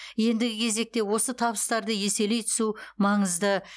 ендігі кезекте осы табыстарды еселей түсу маңызды